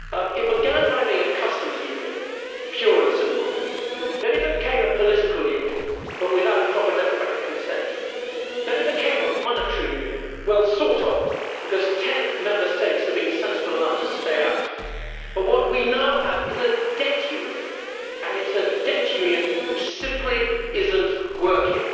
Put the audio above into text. It began by being a customs union pure and simple, then it became a political union, but without proper democratic consent, then it became a monetary union well, sort of, because ten Member States have been sensible enough to stay out but what we now have is a debt union, and it is a debt union which simply is not working.